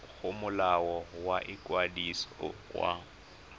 go molao wa ikwadiso wa